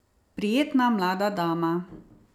Prijetna mlada dama.